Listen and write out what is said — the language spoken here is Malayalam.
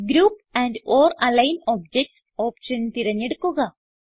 group and or align objects option തിരഞ്ഞെടുക്കുക